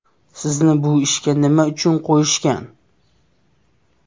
Sizni bu ishga nima uchun qo‘yishgan?